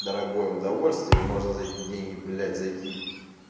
дорогое удовольствие и можно за эти деньги блять зайти